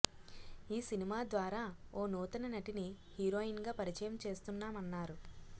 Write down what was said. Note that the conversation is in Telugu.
ఈ సినిమా ద్వారా ఓ నూతన నటిని హీరోయిన్ గా పరిచయం చేస్తున్నామన్నారు